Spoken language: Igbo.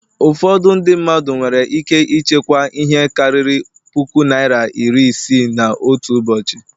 Ụfọdụ Ndị mmadụ nwere ike ịchekwa ihe karịrị puku naịra iri isii n'otu ụbọchị